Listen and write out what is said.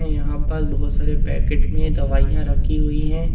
यहां पर बहोत सारे पैकेट में दवाइयां रखी हुई है।